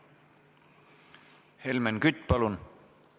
Helmen Kütt, palun!